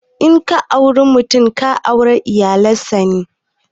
In ka auri mutum, ka aure iyalan sa ne.